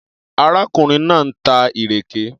Arákùnrin náà ń ta ìrèké.